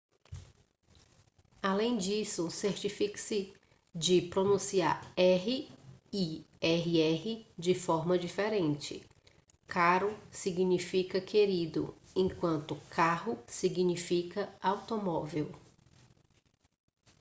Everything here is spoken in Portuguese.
além disso certifique-se de pronunciar r e rr de forma diferente caro significa querido enquanto carro significa automóvel